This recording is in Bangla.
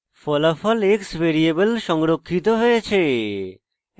ফলাফল x ভ্যারিয়েবল সংরক্ষিত হয়েছে